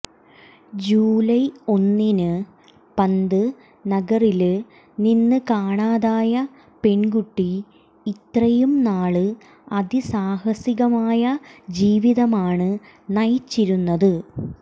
July ഒന്നിന് പന്ത് നഗറില് നിന്ന് കാണാതായ പെണ്കുട്ടി ഇത്രയും നാള് അതിസാഹസികമായ ജീവിതമാണ് നയിച്ചിരുന്നത്